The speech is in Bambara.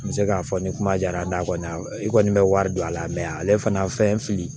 N bɛ se k'a fɔ ni kuma diyara n'a kɔni i kɔni bɛ wari don a la ale fana fɛn fili